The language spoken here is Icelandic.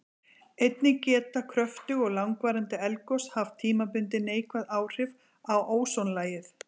Einnig geta kröftug og langvarandi eldgos haft tímabundin neikvæð áhrif á ósonlagið.